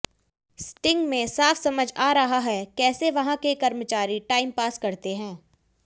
sting में साफ समझ आ रहा है कैसे वहां के कर्मचारी टाइम पास करते हैं